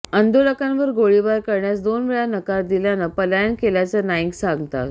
आंदोलकांवर गोळीबार करण्यास दोन वेळा नकार दिल्यानं पलायन केल्याचं नाइंग सांगतात